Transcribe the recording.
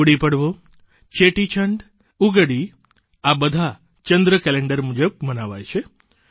ગુડી પડવો ચેટીચંડ ઉગાદિ આ બધા ચંદ્ર કેલેન્ડર મુજબ મનાવાય છે